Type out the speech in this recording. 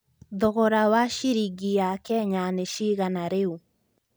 thogora wa ciringi ya Kenya nĩ cigana rĩu